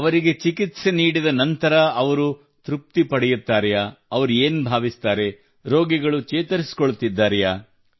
ಅವರಿಗೆ ಚಿಕಿತ್ಸೆ ನೀಡಿದ ನಂತರ ಅವರು ತೃಪ್ತಿ ಪಡೆಯುತ್ತಾರೆಯೇ ಅವರು ಏನು ಭಾವಿಸುತ್ತಾರೆ ರೋಗಿಗಳು ಚೇತರಿಸಿಕೊಳ್ಳುತ್ತಿದ್ದಾರೆಯೇ